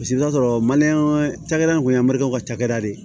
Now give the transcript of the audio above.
Paseke i bɛ t'a sɔrɔ maliyɛn cakɛda in kun ye maliyɛnw ka cakɛda de ye